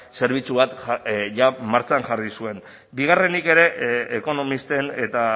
zerbitzu bat jada martxan jarri zuen bigarrenik ere ekonomisten eta